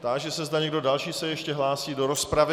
Táži se, zda někdo další se ještě hlásí do rozpravy.